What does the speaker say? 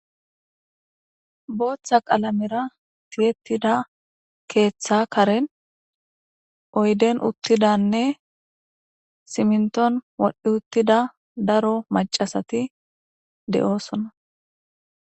Botha qalamera tiyetida ketha karen oyden utidane siminton wodhi utida daro mac'a asati de'osona.